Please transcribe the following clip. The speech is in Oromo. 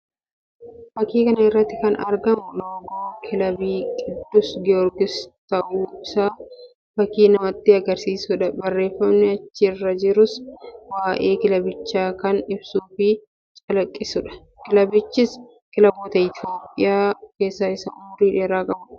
Fakkii kana irratti kan argamu loogoo kilaba qiddus Giyoorgis ta'uu isaa fakkii namatti agarsiisuu dha. Barreeffamni achi irra jirus waa'ee kilabichaa kan ibsuu fi calaqqisuu dha. Kilabichis kilaboota Itoophiyaa keessaa isa umurii dheeraa qabuu dha.